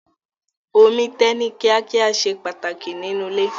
Omi tẹ̀ ní kíá kíá ṣe pàtàkì nínú ilé.